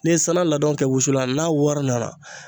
N'i ye sanan ladɔn kɛ wusulan n'a wɔri nana